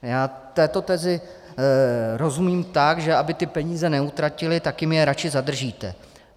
Já této tezi rozumím tak, že aby ty peníze neutratili, tak jim je radši zadržíte.